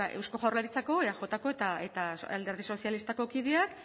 eusko jaurlaritzako eajko eta alderdi sozialistako kideak